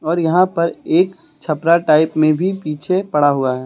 और यहां पर एक छपरा टाइप में भी पीछे पड़ा हुआ है।